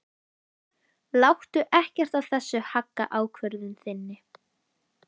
Láttu ekkert af þessu hagga ákvörðun þinni.